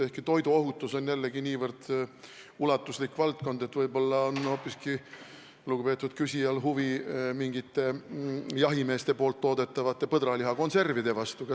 Samas on toiduohutus nii ulatuslik valdkond, et võinuks arvata, et võib-olla on lugupeetud küsijal huvi hoopis mingite jahimeeste toodetavate põdralihakonservide vastu.